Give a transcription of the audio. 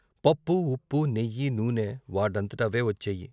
పప్పూ, ఉప్పూ, నెయ్యి, నూనె వాటంతట అవే వచ్చాయి.